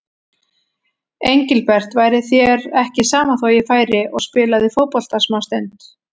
Engilbert, væri þér ekki sama þó ég færi og spilaði fótbolta smástund.